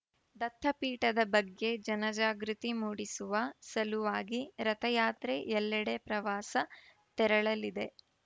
ದತ್ತಪೀಠದ ಬಗ್ಗೆ ಜನಜಾಗೃತಿ ಮೂಡಿಸುವ ಸಲುವಾಗಿ ರಥಯಾತ್ರೆ ಎಲ್ಲೆಡೆ ಪ್ರವಾಸ ತೆರಳಲಿದೆ